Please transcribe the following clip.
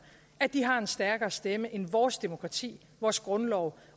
at de har en stærkere stemme end vores demokrati vores grundlov